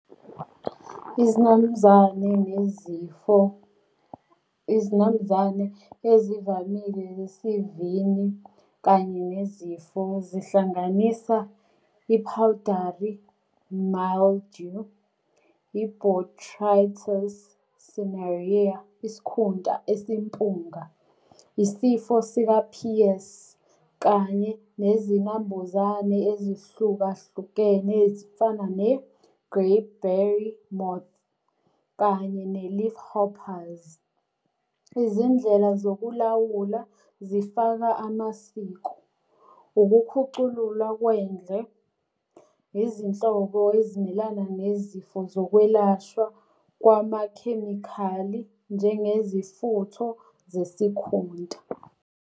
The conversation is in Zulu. Izinambuzane nezifo. Izinambuzane ezivamile zesivini kanye nezifo zihlanganisa i-powdery mildew, i-botrytis cinerea, isikhunta esimpunga, isifo sika-Pierce, kanye nezinambuzane ezihlukahlukene ezifana ne-grey Perry moth, kanye ne-leafhoppers. Izindlela zokulawula zifaka amasiko, ukukhuculula kwendle, izinhlobo ezimelana nezifo zokwelashwa kwamakhemikhali njengezifutho zesikhunta.